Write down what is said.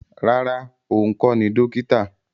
Rárá, òun kọ́ ni dókítà